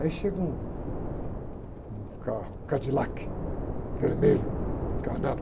Aí chega um carro, Cadillac, vermelho, encarnado.